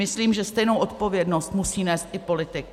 Myslím, že stejnou odpovědnost musí nést i politik.